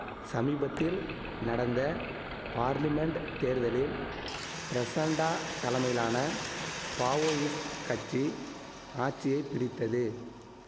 சமிபத்தில் நடந்த பார்லிமென்ட் தேர்தலில் பிரசண்டா தலைமையிலான பாவோயிஸ்ட் கட்சி ஆச்சியை பிடித்தது